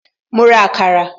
Ma ra àkàrà